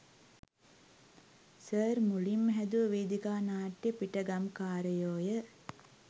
Sir මුලින්ම හැදුව වේදිකා නාට්‍යය පිටගම්කාරයෝ ය.